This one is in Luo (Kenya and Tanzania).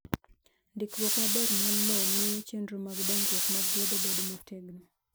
Ndikruok maber mar lowo miyo chenro mag dongruok mag gedo bedo motegno.